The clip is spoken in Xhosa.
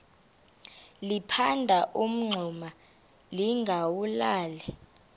liphanda umngxuma lingawulali